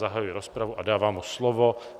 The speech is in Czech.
Zahajuji rozpravu a dávám mu slovo.